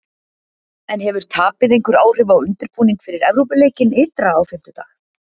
En hefur tapið einhver áhrif á undirbúning fyrir Evrópuleikinn ytra á fimmtudag?